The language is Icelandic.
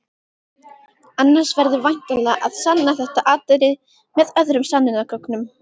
Annars verður væntanlega að sanna þetta atriði með öðrum sönnunargögnum.